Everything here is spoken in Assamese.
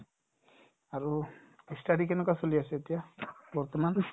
আৰু ই study কেনেকুৱা চলি আছে এতিয়া বৰ্তমান ?